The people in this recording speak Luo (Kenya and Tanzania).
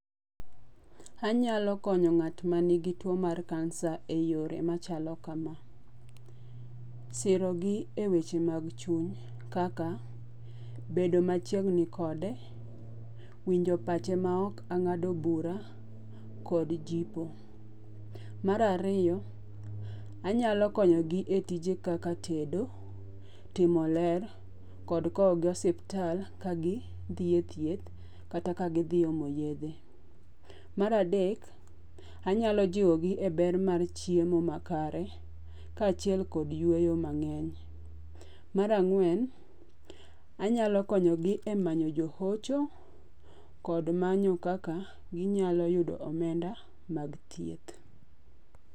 Anyalo konyo ng'at ma ni gi two mar kansa e yore machalo kama: Siro gi e weche mad chuny kaka bedo machiegni kode, winjo pache ma ok ang'ado bura kod jipo. Mar ariyo, anyalo konyo gi e tije kaka tedo, timo ler kod kow gi osiptal ka gidhie thieh kata ka gidhi omo yedhe. Mar adek, anyalo jiwogi e ber mar chiemo makare ka achiel kod yueyo mang'eny. Mar ang'wen, anyalo konyo gi e manyo jo hocho kod manyo kaka ginyalo yudo omenda mag thieth.